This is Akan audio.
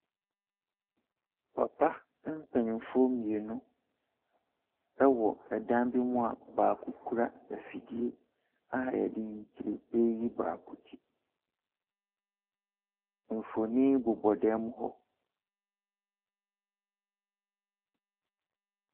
Papa mpanimfoɔ mmienu wɔ dan bi mu a baako kura afidie a wɔde yi ture reyi baako ti. Mfonin bobɔ dan mu hɔ.